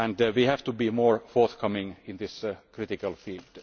We have to be more forthcoming in this critical field.